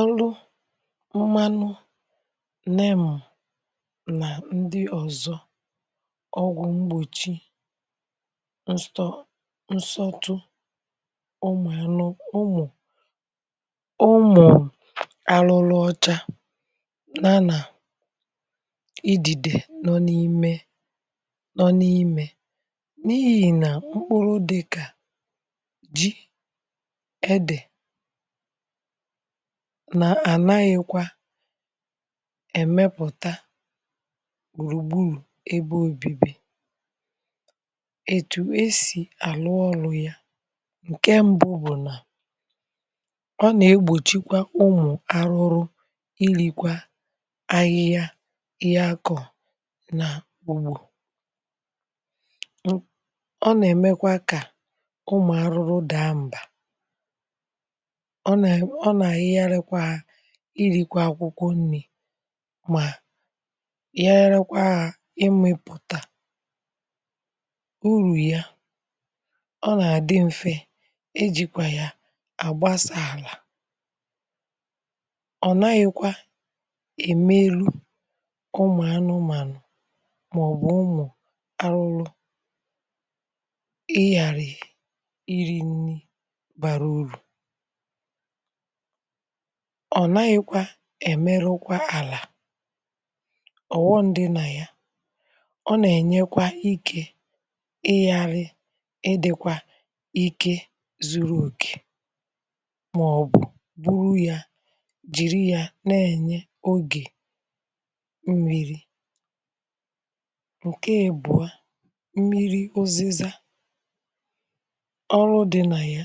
Ọrụ mmanụ neem na ndị ọ̀zọ ọgwụ̀ mgbochi nsọ nsọtụ ụmụ̀anụ, ụmụ̀ umù arụrụ ọcha na na idide nọ n’ime nọ n’imė n’ihì na ụkpụrụ dịkà ji edė nà-ànaghịkwa emepụ̀ta gbùrùgburù ebe ȯbi̇bi̇ ètù esì àlụ ọlụ̇ ya ǹke mbụ bụ̀ nà ọ nà-egbòchikwa ụmụ̀ arụrụ ilikwa ahịhịa ihė akọ̀ nàugbo ọ nà-èmekwa kà ụmụ̀ àrụrụ dàa mba ọna ehigharikwaya ịri akwụkwọ nni̇ mà yiharịkwa ya imėpùtà urù ya ọ nà àdị m̀fe e jìkwà ya àgbasȧ àlà ọ̀ naghị̇kwa èmeru ụmụ̀ anụụ̀manụ̀ màọ̀bụ̀ ụmụ̀ arụrụ ị yàrị̀ iri̇ nni bàrà urù ọ naghịkwa èmerukwa àlà ọ̀ghọm dị nà ya ọ nà-ènyekwa ike ịyȧrị ịdị̇kwa ike zuru òkè màọ̀bụ̀ buru ya jìri ya na-ènye ogè mmiri̇. Nke èbụ̀a, mmiri̇ ụzịza ọrụ dị nà ya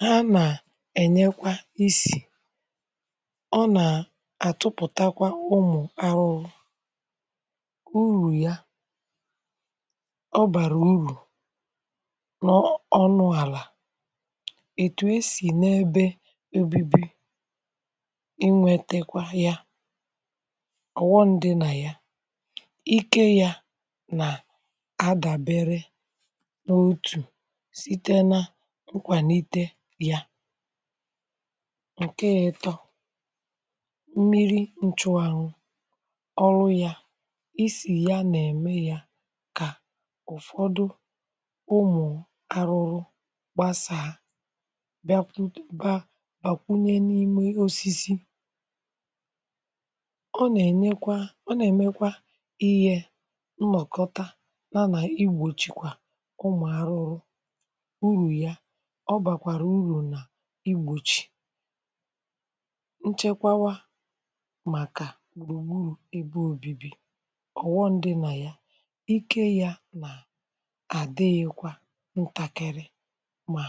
ha nà-enyekwa isi ọna tụpụ̀takwa ụmụ̀ arụ̇ụ̇ urù ya ọ bàrà urù n’ọnụ̇ àlà ètù esì n’ebe ebebe inwėtekwa ya ọ̀ghọm dị nà ya ikė ya nà àdàbere n’otù site na nkwàlite ya. Nke ịtọ, mmiri nchụanwu ọrụ yȧ isì ya nà-ème yȧ kà ụ̀fọdụ ụmụ̀ arụrụ gbasàȧ bịakwu, ba bàkwunye n’ime osisi ọ nà-ènyekwa, ọ nà-èmekwa ihė nnọ̀kọta, nȧnà igbòchikwà ụmụ̀ arụrụ urù ya ọ bakwara uru n'igbochi nchekwawa màkà gburugburu ebe obibi ọ̀ghọm di̇ nà ya ike ya nà àdịghịkwa ǹtàkịrị mà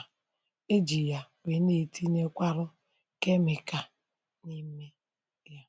ejì ya wee n’etinye kwarụ kemịka n’ime ya.